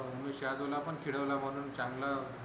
शार्दूल ला पण खेळवला म्हणून चांगल